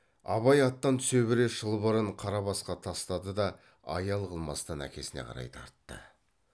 абай аттан түсе бере шылбырын қарабасқа тастады да аял қылмастан әкесіне қарай тартты